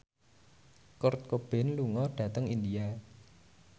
Kurt Cobain lunga dhateng India